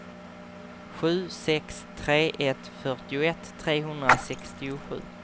sju sex tre ett fyrtioett trehundrasextiosju